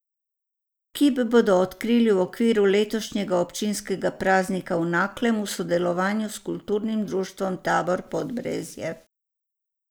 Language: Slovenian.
Kip bodo odkrili v okviru letošnjega občinskega praznika v Naklem v sodelovanju s Kulturnim društvom Tabor Podbrezje.